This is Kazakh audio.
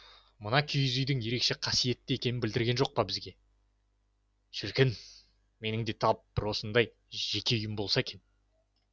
мына киіз үйдің ерекше қасиетті екенін білдірген жоқ па бізге шіркін менің де тап осындай бір жеке үйім болса екен